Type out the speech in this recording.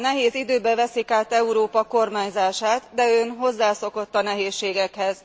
Nehéz időkben veszik át Európa kormányzását, de ön hozzászokott a nehézségekhez.